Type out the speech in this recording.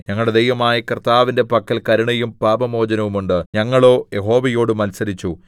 ഞങ്ങളുടെ ദൈവമായ കർത്താവിന്റെ പക്കൽ കരുണയും പാപമോചനവും ഉണ്ട് ഞങ്ങളോ യഹോവയോട് മത്സരിച്ചു